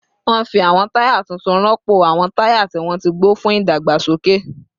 Wọ́n fi àwọn táyà tuntun rọ́pò àwọn táyà tí wọ́n ti gbó fún ìdàgbàsókè